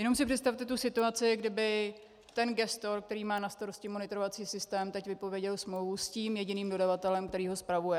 Jenom si představte tu situaci, kdyby ten gestor, který má na starosti monitorovací systém, teď vypověděl smlouvu s tím jediným dodavatelem, který ho spravuje.